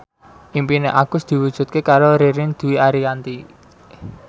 impine Agus diwujudke karo Ririn Dwi Ariyanti